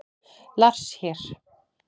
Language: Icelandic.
Lars hér!